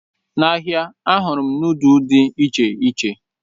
N'ahịa, ahụrụ m nudu dị iche iche.